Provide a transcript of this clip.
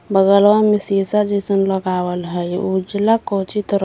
बगलवा में सीसा जइसन लगावल ह इ उजला कोचि त र--